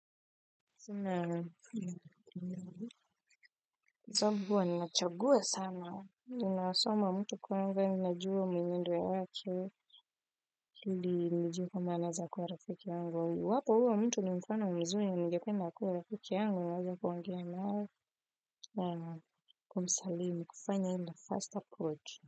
Sina, sobabu huwa nachagua sana, ninaasoma mtu kwanza ninajua mwenendo yake, ili nijue kama anaeza kuwa rafiki yangu, iwapo huyo mtu ni mfano mzuri ningepe akue rafiki yangu, niweze kuongea naye naam wazo kuwa msalini, kufanya aende fast approach.